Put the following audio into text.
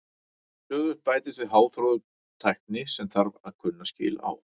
Stöðugt bætist við háþróuð tækni sem þarf að kunna skil á.